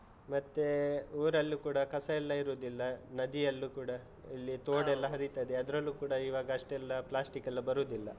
ಮತ್ತೇ ಊರಲ್ಲೂ ಕೂಡ ಕಸ ಎಲ್ಲ ಇರುದಿಲ್ಲ, ನದಿಯಲ್ಲೂ ಕೂಡ ಲ್ಲಿ ತೋಡ್ ಎಲ್ಲ ಹರಿತದೆ, ಅದ್ರಲ್ಲೂ ಕೂಡ ಈಗ ಅಷ್ಟೆಲ್ಲ ಪ್ಲಾಸ್ಟಿಕ್ಕೆಲ್ಲ ಬರುದಿಲ್ಲ.